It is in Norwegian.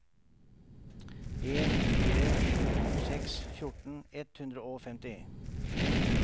en fire sju seks fjorten ett hundre og femti